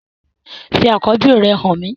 Fi akọbi rẹ han mi!